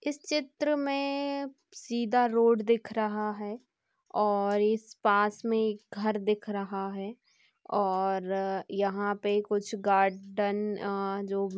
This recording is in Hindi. इस चित्र मे सीधा रोड दिख रहा है और इस पास मे एक घर दिख रहा है और यहाँ पे कुछ गार्डन अ जो--